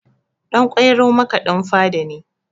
Ɗan ƙwairo makaɗin fada ne